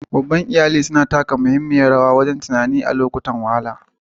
Babban iyali galibi suna taka muhimmiyar rawa wajen ba da tallafi na zamantakewa da na tunani a lokutan wahala.